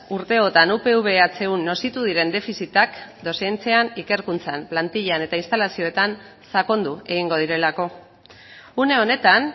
urteotan upv ehun nozitu diren defizitak dozentzian ikerkuntzan plantilan eta instalazioetan sakondu egingo direlako une honetan